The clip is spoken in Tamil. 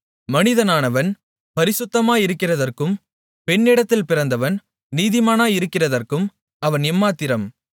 மனிதனானவன் பரிசுத்தமாயிருக்கிறதற்கும் பெண்ணிடத்தில் பிறந்தவன் நீதிமானாயிருக்கிறதற்கும் அவன் எம்மாத்திரம்